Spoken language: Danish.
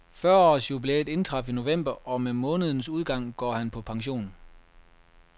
Fyrre års jubilæet indtraf i november, og med månedens udgang går han på pension.